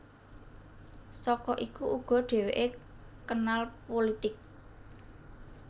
Saka iku uga dhèwèké kenal pulitik